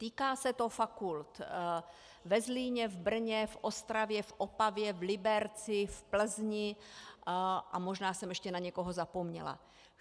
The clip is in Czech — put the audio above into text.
Týká se to fakult ve Zlíně, v Brně, v Ostravě, v Opavě, v Liberci, v Plzni a možná jsem ještě na někoho zapomněla.